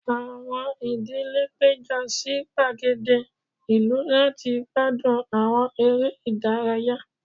Awọn idile pejọ si gbagede ilu lati gbadun awọn ere idaraya